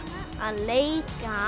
að leika